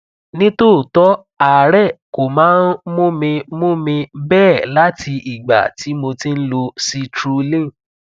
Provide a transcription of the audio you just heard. nítòótọ àárẹ kò máa ń mú mi mú mi bẹẹ láti ìgbà tí mo ti ń lo citrulline